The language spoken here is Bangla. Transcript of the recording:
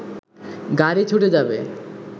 গাড়ি ছুটে যাবে